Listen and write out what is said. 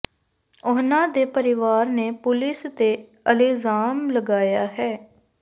ਉਹਨਾਂ ਦੇ ਪਰਿਵਾਰ ਨੇ ਪੁਲਿਸ ਤੇ ਇਲਜ਼ਾਮ ਲਗਾਇਆ ਹੈ